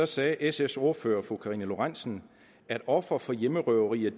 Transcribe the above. sagde sfs ordfører fru karina lorentzen at ofre for hjemmerøverier